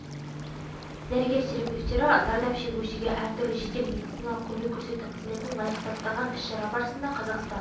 дәрігер-терапевтері зардап шегушіге әр түрлі жедел медициналық көмек көрсету қызметін лайықты атқарған іс-шара барысында қазақстан